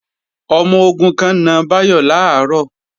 Ọmọ-ogun kan na Báyọ̀ làárọ̀